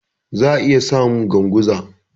Za'a iya samu Ganguza.